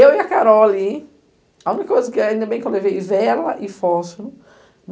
Eu e a Carol ali, a única coisa que... Ainda bem que eu levei vela e fósforo.